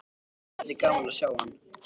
Mér þætti gaman að sjá hann.